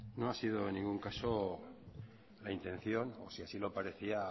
no ha sido en ningún caso la intención si así lo parecía